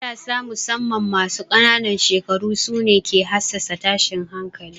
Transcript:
Matasa musamman masu ƙanan shekaru su ne ke hassasa tashin hankali.